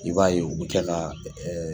I b'a ye u bi kɛla